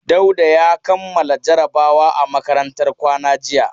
Dauda ya kammala jarabawa a makarantar kwana jiya.